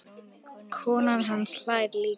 Konan hans hlær líka.